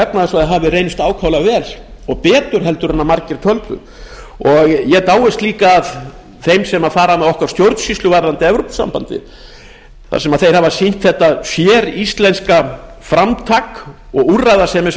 efnahagssvæðið hafi reynst ákaflega vel og betur en margir töldu ég dáist líka að þeim sem fara með stjórnsýslu okkar varðandi evrópusambandið þar sem þeir hafa sýnt þetta séríslenska framtak og úrræðasemi